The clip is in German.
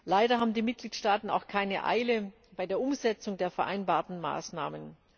Leider haben die Mitgliedstaaten auch keine Eile bei der Umsetzung der vereinbarten Maßnahmen.